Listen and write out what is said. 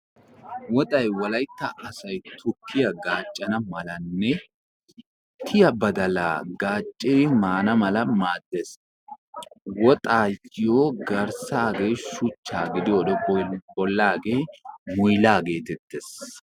Woxay wolaytta asay tukkiya gaccana malanne tiya badaala gaccidi maana mala maadees. Woxayo garssage shuchcha gidiyode bollage muyilaa geetes.